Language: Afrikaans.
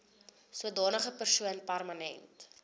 sodanige persoon permanent